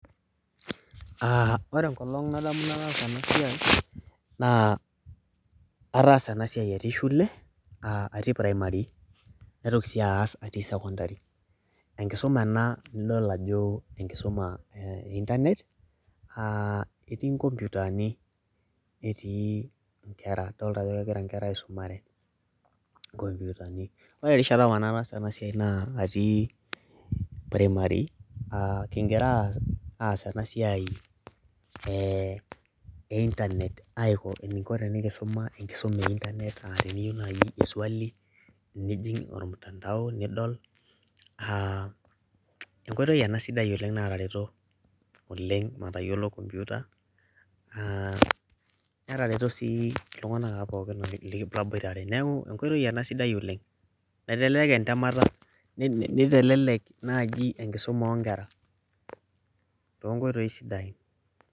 Ore enkolong' nadamu nataasa ena siai naa ataasa ena siai atii shule atii primary naitoki sii aas atii sekundari. Enkisuma enaa nidol ajo enkisumaa ee internet naa etii nkupatani neeti nkera, dolita ajo kegira nkera aisumare nkoputani. Ore erishata apa nataasa ena siai naa ati primary kigira aas ena siai ee internet aiko eniko tenikisuma enkisuma aisul eee internet teniyiou najii swali nijing' ormutandao nidol. Enkoitoi ena sidai natareto oleng' matayiolou computer. Netareto sii iltung'ana apa pooki laboitare. Neeku enkoitoi enaa sidai oleng'. Kitelelek entamata nitelelek najii enkisuma oo nkera tonkoitoi sidain